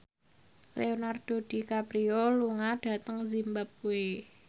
Leonardo DiCaprio lunga dhateng zimbabwe